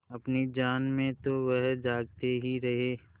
अपनी जान में तो वह जागते ही रहे